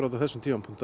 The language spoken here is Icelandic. á þessum tíma